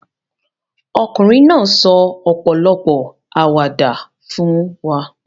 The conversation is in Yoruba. Ọkùnrin náà sọ ọ̀pọ̀lọpọ̀ àwàdà fún wa.